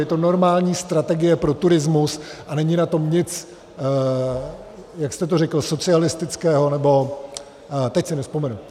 Je to normální strategie pro turismus a není na tom nic - jak jste to řekl? - socialistického, nebo... teď si nevzpomenu.